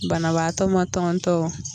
Banabaatɔ ma tɔntɔn.